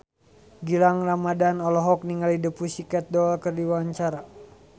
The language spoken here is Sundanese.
Gilang Ramadan olohok ningali The Pussycat Dolls keur diwawancara